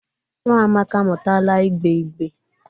Nwa Amaka amutala igbe igbe.